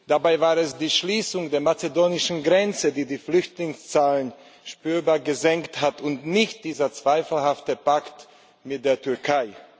Dabei war es die Schließung der mazedonischen Grenze, die die Flüchtlingszahlen spürbar gesenkt hat, und nicht dieser zweifelhafte Pakt mit der Türkei.